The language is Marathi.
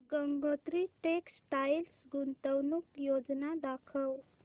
गंगोत्री टेक्स्टाइल गुंतवणूक योजना दाखव